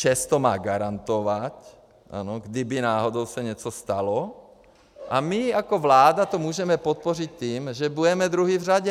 ČEZ to má garantovat, ano, kdyby náhodou se něco stalo, a my jako vláda to můžeme podpořit tím, že budeme druzí v řadě.